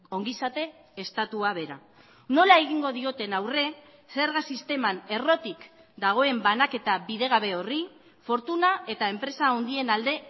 ongizate estatua bera nola egingo dioten aurre zerga sisteman errotik dagoen banaketa bidegabe horri fortuna eta enpresa handien alde